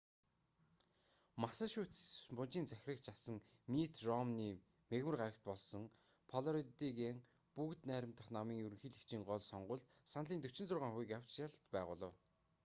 массачусетс мужийн захирагч асан митт ромни мягмар гарагт болсон флоридагийн бүгд найрамдах намын ерөнхийлөгчийн гол сонгуульд саналын 46 хувийг авч ялалт байгуулав